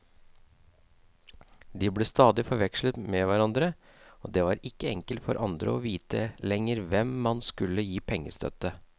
De ble stadig forvekslet med hverandre, og det var ikke enkelt for andre å vite lenger hvem man skulle gi pengestøtte.